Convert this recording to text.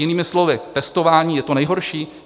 Jinými slovy, testování je to nejhorší?